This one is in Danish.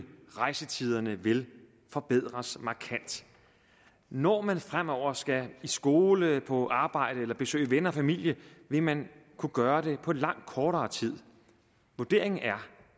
rejsetiderne vil forbedres markant når man fremover skal i skole på arbejde eller besøge venner og familie vil man kunne gøre det på langt kortere tid vurderingen er